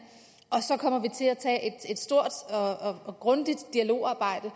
og så kommer vi til at tage et stort og og grundigt dialogarbejde